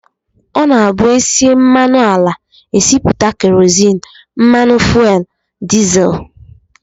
Ọ na-abụ e sie mmanụ ala, e sipụta kerozin, mmanụ fuel, dizel